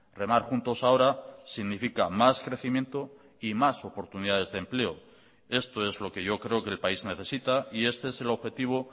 remar juntos ahora significa más crecimiento y más oportunidades de empleo esto es lo que yo creo que el país necesita y este es el objetivo